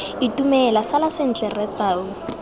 itumela sala sentle rre tau